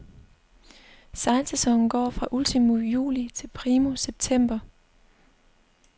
Sejlsæsonen går fra ultimo juli til primo september.